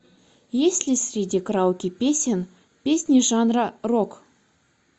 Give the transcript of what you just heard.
есть ли среди караоке песен песни жанра рок